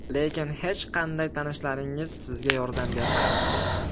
Lekin hech qanday tanishlaringiz sizga yordam bermayapti.